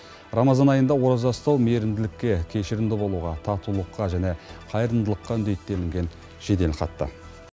рамазан айында ораза ұстау мейірімділікке кешірімді болуға татулыққа және қайырымдылыққа үндейді делінген жеделхатта